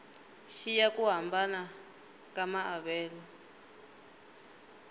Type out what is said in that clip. xiya ku hambana ka maavelo